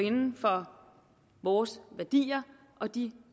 inden for vores værdier og de